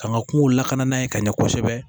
Ka ŋa kungo lakana ye ka ɲɛ kosɛbɛ